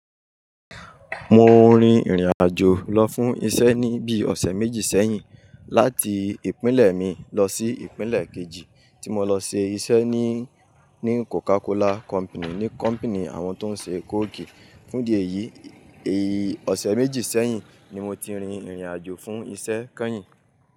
Mo rìn ìrìn-àjò lọ fún iṣẹ́ ní bíi ọ̀sẹ̀ méjì sẹ́yìn láti ìpínlẹ̀ mi lọ sí ìpínlẹ̀ kejì tí mo lọ ṣe iṣẹ́ ní, ní Coca-Cola Company, ní company àwọn tó ń ṣe Coke. Fún díẹ̀ yìí, èyí ọ̀sẹ̀ méjì sẹ́yìn ni mo ti rìn ìrìn-àjò fún iṣẹ́ kẹ́yìn.